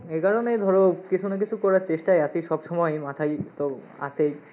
এই কারণেই ধরো, কিছু না কিছু করার চেষ্টায় আসি সবসময়ই, মাথাই তো আসেই,